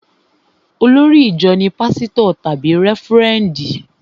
Olórí ìjọ ní pásítọ̀ tàbí rẹ́fúrẹ́ndì